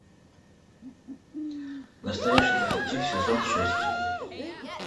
настоящий детектив сезон шесть